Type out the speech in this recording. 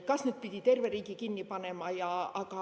Kas just pidi terve riigi kinni panema?